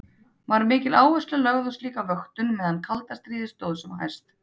Var mikil áhersla lögð á slíka vöktun meðan kalda stríði stóð sem hæst.